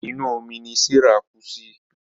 Inú omí ní Serah kú sí.